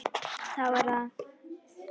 Þá sá hann Don